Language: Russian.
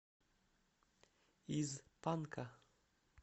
из панка